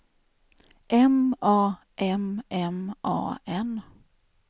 M A M M A N